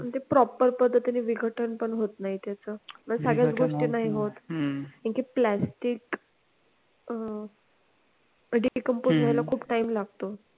आणि ते proper पद्धतीने विघटन पण होत नाही त्याचं मग सगळ्याच गोष्टी नाही होत कारण की plastic अह decomposed व्हायला खूप time लागतो